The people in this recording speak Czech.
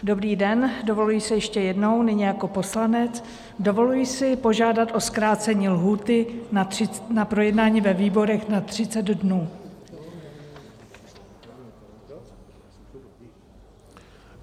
Dobrý den, dovoluji si ještě jednou nyní jako poslanec, dovoluji si požádat o zkrácení lhůty na projednání ve výborech na 30 dnů.